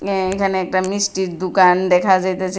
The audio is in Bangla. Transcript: অ্যাঁ এখানে একটা মিষ্টির দুকান দেখা যাইতাছে।